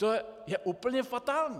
To je úplně fatální!